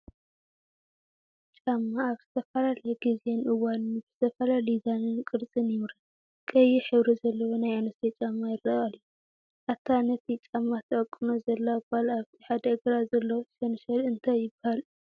ጫማ ኣብ ዝተፈላለየ ጊዜን እዋንን ብዝተፈላለየ ዲዛይንን ቅርፅን ይምረት፡፡ ቐይሕ ሕብሪ ዘለዎ ናይ ኣንስትዮ ጫማ ይረአ ኣሎ፡፡ አታ ነቲ ጫማ ትዕቅኖ ዘላ ጓልኣብቲ ሓደ እግራ ዘሎ ሸንሸል እንታይ ይባሃል?